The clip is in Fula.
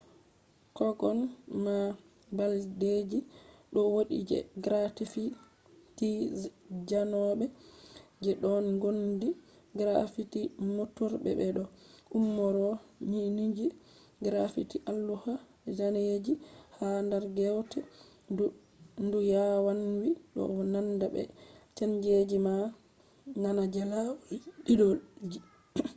kogan ma balɗeji ɗo wodi je graffiti zanobe je ɗon ngondi graffiti mofturɓe be do umrore” ginije. graffiti alluha zaneji ha dar ngewte ndu yawanwi do nanda be zaneji je na je lawal didolji